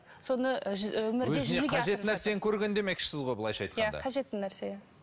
с қажет нәрсені көрген демекшісіз ғой былайша айтқанда қажетті нәрсе